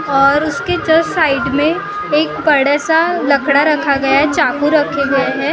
और उसके just side में एक बड़ा सा लकड़ा रखा गया है चाकू रखी गई है।